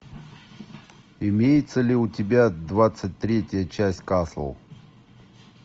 имеется ли у тебя двадцать третья часть касл